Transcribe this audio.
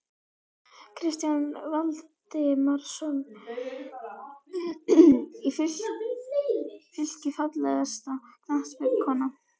Kristján Valdimarsson í Fylki Fallegasta knattspyrnukonan?